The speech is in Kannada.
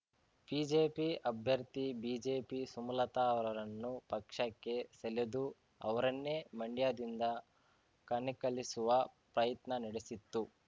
ಬಿಜೆಪಿ ಅಭ್ಯರ್ಥಿ ಬಿಜೆಪಿ ಸುಮಲತಾ ರವರನ್ನು ಪಕ್ಷಕ್ಕೆ ಸೆಲೆದು ಅವರನ್ನೇ ಮಂಡ್ಯದಿಂದ ಕಣಕ್ಕಿಳಿಸುವ ಪ್ರಯತ್ನ ನಡೆಸಿತ್ತು